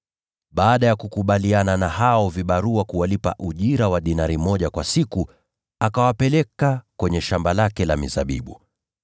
Baada ya kukubaliana na hao vibarua kuwalipa ujira wa dinari moja kwa siku, akawapeleka kwenye shamba lake la mizabibu.